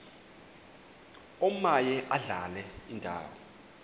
omaye adlale indawo